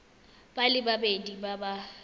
ba le babedi ba ba